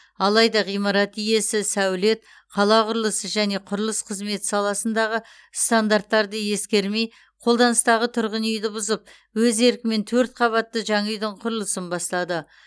алайда ғимарат иесі сәулет қала құрылысы және құрылыс қызметі саласындағы стандарттарды ескермей қолданыстағы тұрғын үйді бұзып өз еркімен төрт қабатты жаңа үйдің құрылысын бастады